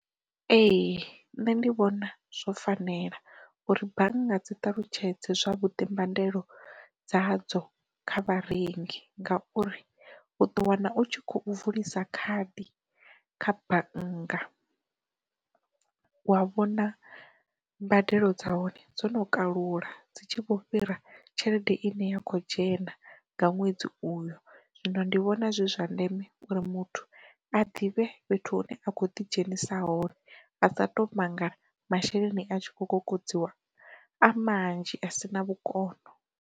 Ee nṋe ndi vhona zwo fanela uri bannga dzi ṱalutshedze zwa vhuḓi mbandelo dzadzo kha vharengi ngauri u ḓo wana u tshi khou vulisa khadi kha bannga, wa vhona mbadelo dza hone dzo no kalula dzi tshi vho fhira tshelede ine ya kho dzhena nga ṅwedzi uyo, zwino ndi vhona zwi uri muthu a ḓivhe fhethu hune a khou ḓi dzhenisa hone. A nga to mangala masheleni a tshi kho kokodziwa a manzhi a si na vhukono.